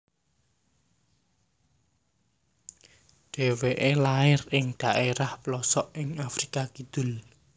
Dheweke lair ing dhaerah plosok ing Afrika Kidul